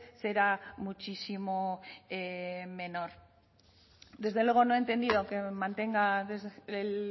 será muchísimo menor desde luego no he entendido que mantenga el